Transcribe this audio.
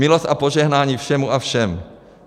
Milost a požehnání všemu a všem.